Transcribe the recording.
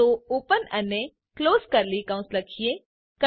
તો ઓપન અને close curly કૌંશ લખીએ